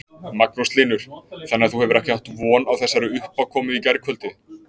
Magnús Hlynur: Þannig að þú hefur ekki átt von á þessari uppákomu í gærkvöldi?